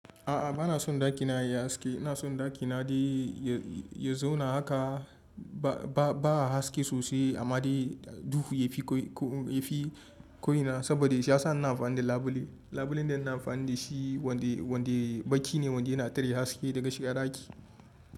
A'a, ba na son ɗakina ya yi haske. Ina son ɗakina dai ya zauna haka. Ba a haske sosai amma dai duhu yafi koyina saboda shi ya sa ina amfani da labule. Labulen da ina amfani da shi wanda baki ne wanda yana tare haske daga shiga ɗaki.